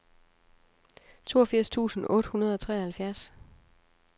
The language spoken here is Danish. toogfirs tusind otte hundrede og treoghalvfjerds